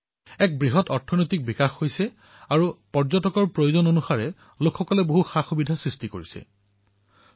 এক বৃহৎ অৰ্থনীতি গঢ় লৈ উঠিছে আৰু যাত্ৰীসকলৰ সুবিধাৰ্থে তাৰে জনসাধাৰণে সুবিধাসমূহ বিকশিত কৰিবলৈ ধৰিছে